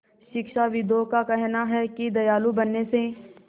शिक्षाविदों का कहना है कि दयालु बनने से